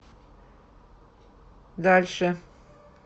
дальше